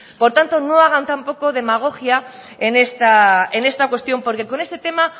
por tanto no hagan tampoco demagogia en esta cuestión porque con este tema